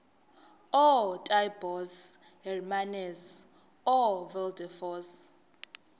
ootaaibos hermanus oowilberforce